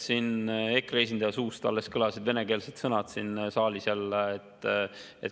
EKRE esindaja suust alles kõlas venekeelne sõna siin saalis jälle.